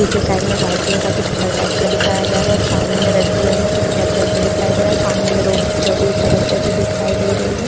पीछे साइड में white colour का कुछ घर टाइप दिखाया जा रहा है और सामने में रेड कलर में घर जैसा कुछ दिखाई दे रहा है और सामने में रोड चलती हुई सड़क जैसी दिखाई दे रही है।